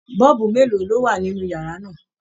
Bọ́ọ̀bu mélòó ló wà nínú yàrá náà?